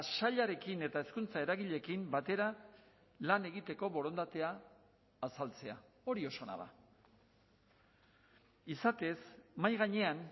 sailarekin eta hezkuntza eragileekin batera lan egiteko borondatea azaltzea hori oso ona da izatez mahai gainean